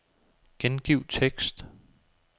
Gengiv tekst.